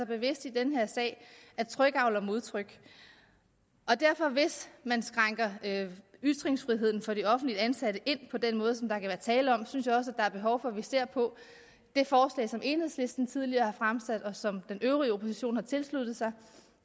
bevidst i den her sag at tryk avler modtryk hvis man indskrænker ytringsfriheden for de offentligt ansatte på den måde som der kan være tale om synes jeg også at der er behov for at vi ser på det forslag som enhedslisten tidligere har fremsat og som den øvrige opposition har tilsluttet sig